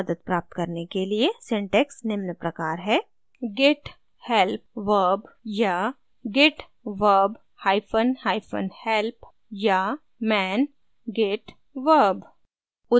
मदद प्राप्त करने के लिए syntax निम्न प्रकार है